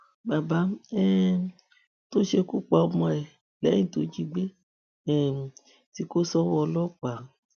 bàbá um tó ṣekú pa ọmọ ẹ lẹyìn tó jí i gbé um tí kò sówó ọlọpàá